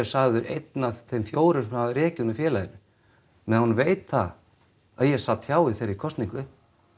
sagður einn af þeim fjórum sem höfðu rekið hana úr félaginu meðan hún veit það að ég sat hjá í þeirri kosningu